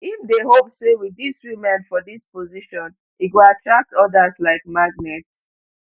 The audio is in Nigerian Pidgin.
im dey hope say with dis women for dis positions e go attract odas like magnet